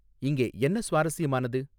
இங்கே என்ன சுவாரஸ்யமானது